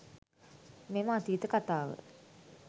මෙම අතීත කතාව